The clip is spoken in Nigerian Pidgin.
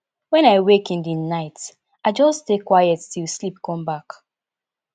when i wake in the night i just stay quiet till sleep come back